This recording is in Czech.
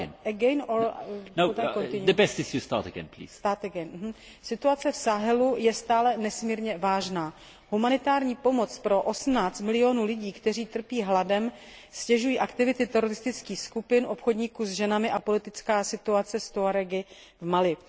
18 milionů lidí, kteří trpí hladem, ztěžují aktivity teroristických skupin, obchodníků s ženami a politická situace s Tuarégy v Mali.